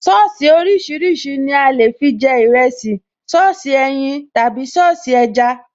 Sọ́ọ̀sì oríṣiríṣi ni a lè fi jẹ ìrẹsì, Sọ́ọ̀sì ẹyin tàbí Sọ́ọ̀sì ẹja